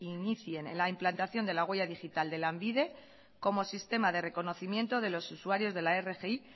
inicien la implantación de la huella digital de lanbide como sistema de reconocimiento de los usuarios de la rgi